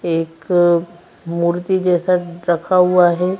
एक मूर्ति जैसा रखा हुआ है।